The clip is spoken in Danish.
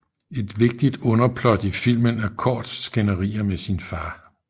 Et vigtigt underplot i filmen er Gords skænderier med sin far